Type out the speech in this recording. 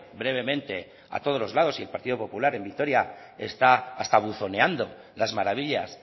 brevemente a todos lados y el partido popular en vitoria está hasta buzoneando las maravillas